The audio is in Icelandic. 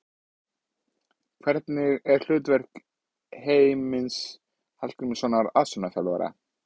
Hvernig er hlutverk Heimis Hallgrímssonar aðstoðarþjálfara?